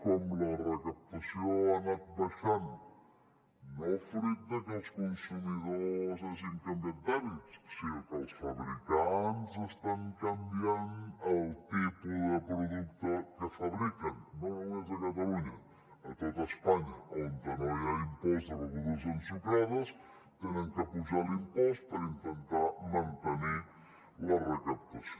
com la recaptació ha anat baixant no fruit de que els consumidors hagin canviat d’hàbits sinó que els fabricants estan canviant el tipus de producte que fabriquen no només a catalunya a tot espanya on no hi ha impost de begudes ensucrades han d’apujar l’impost per intentar mantenir la recaptació